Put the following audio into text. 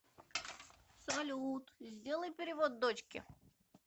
салют сделай перевод дочке